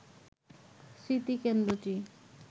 স্মৃতি কেন্দ্রটি